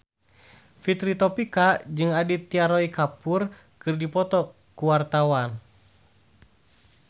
Fitri Tropika jeung Aditya Roy Kapoor keur dipoto ku wartawan